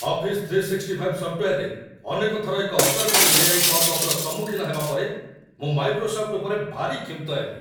Office 365 ସଫ୍ଟୱେର୍‌‌ରେ ଅନେକ ଥର ଏକ ଅଦରକାରୀ ଏ.ଆଇ. ପପ୍‌ଅପ୍‌ର ସମ୍ମୁଖୀନ ହେବା ପରେ ମୁଁ ମାଇକ୍ରୋସଫ୍ଟ ଉପରେ ଭାରି କ୍ଷୁବ୍ଧ ହେଲି।